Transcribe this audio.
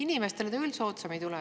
Inimestele see küll soodsam ei tule.